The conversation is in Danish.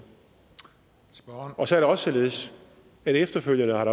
og så er det også således at der efterfølgende har